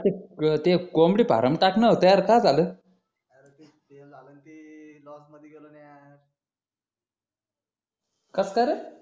अरे ते ते कोंबडी फार्म टाकणार होत यर काय झालं अरे ते फेल झालं न ते लॉस मधी गेलं न यार कस काय रे